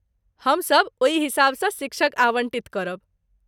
हमसभ ओहि हिसाबसँ शिक्षक आवन्टित करब।